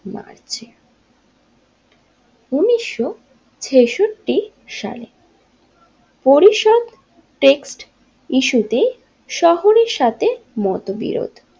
উনিশশো ছেষট্টি সালে পরিসর টেক্সট ইস্যু টি শহরের সাথে মতবিরোধ।